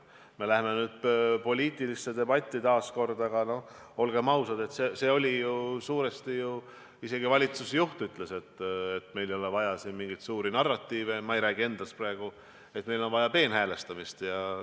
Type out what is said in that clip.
Me läheme nüüd küll taas poliitilisse debatti, aga, olgem ausad, isegi valitsusjuht – ma ei räägi praegu endast – ütles, et meil ei ole vaja siin mingeid suuri narratiive, meil on vaja peenhäälestamist.